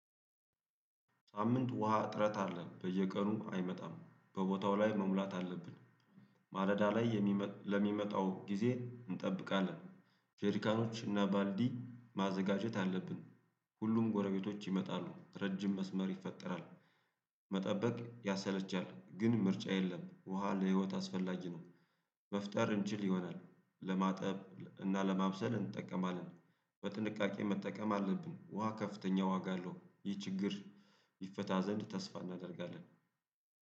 ሳምንት ውሃ እጥረት አለ በየቀኑ አይመጣም በቦታው ላይ መሙላት አለብን። ማለዳ ላይ ለሚመጣው ጊዜ እንጠብቃለን። ጀርካኖች እና ባልዲ ማዘጋጀት አለብን። ሁሉም ጎረቤቶች ይመጣሉ ረጅም መስመር ይፈጠራል። መጠበቅ ያሰለቻል ግን ምርጫ የለም ውሃ ለህይወት አስፈላጊ ነው። መፍጠር እንችል ይሆናል ለማጠብ እና ለማብሰል እንጠቀማለን። በጥንቃቄ መጠቀም አለብን ውሃ ከፍተኛ ዋጋ አለው ይህ ችግር። ይፈታ ዘንድ ተስፋ እናደርጋለን